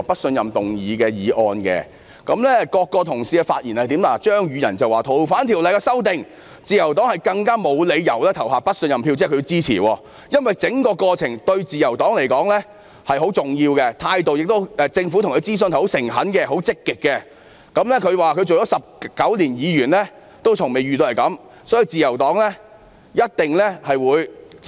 張宇人議員表示，因為修訂《逃犯條例》一事，自由黨更沒有理由投下不信任票——這即是他們支持修訂《逃犯條例》——因為整個過程對自由黨來說是很重要的，政府諮詢自由黨的態度十分誠懇和積極，他說擔任議員19年以來從未遇過這種情況，所以自由黨一定會繼續支持。